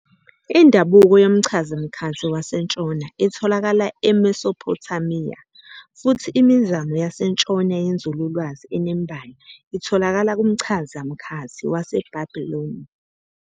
Indabuko yomchazamkhathi wasentshona itholakala eMesophothamiya, futhi imizamo yasentshona yenzululwazi enembayo itholakala kumchazamkhathi waseBhabhiloni.